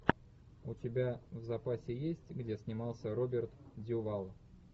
у тебя в запасе есть где снимался роберт дюваль